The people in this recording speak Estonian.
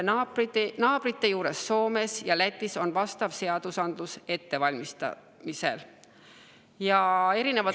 Naabrite juures Soomes ja Lätis on vastav seadus ettevalmistamisel.